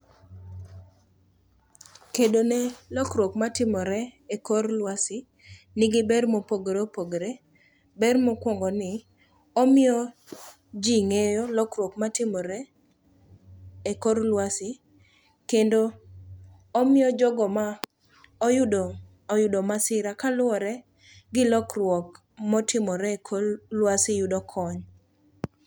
Kedone lokruok matimore e kor lwasi nigi ber mopogore opogore. Ber mokwongo ni, omiyo ji ng'eyo lokruok matimore e kor lwasi kendo omiyo jogo ma oyudo masira kaluwore gi lokruok motimore e kor lwasi yudo kony.